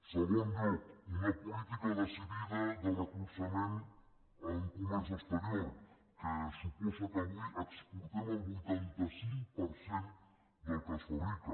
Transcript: en segon lloc una política decidida de recolzament en comerç exterior que suposa que avui exportem el vuitanta cinc per cent del que es fabrica